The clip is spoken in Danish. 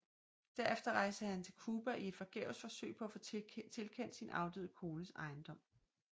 Derefter rejste han til Cuba i et forgæves forsøg på at få tilkendt sin afdøde kones ejendom